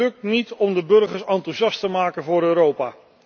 Het lukt niet om de burgers enthousiast te maken voor Europa.